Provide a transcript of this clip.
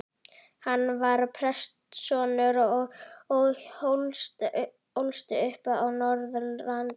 Hann var prestssonur og ólst upp á Norðurlandi.